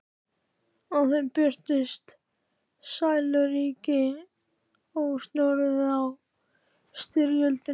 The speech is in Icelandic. Á þeim birtist sæluríki, ósnortið af styrjöldinni.